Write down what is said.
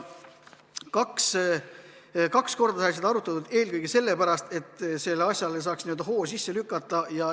Kaks korda sai seda arutatud, eelkõige sellepärast, et sellele asjale saaks n-ö hoo sisse lükata.